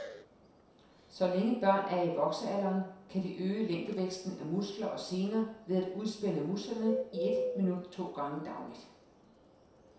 Så længe børn er i voksealderen, kan de øge længdevæksten af muskler og sener ved at udspænde musklerne i et minut to gange dagligt.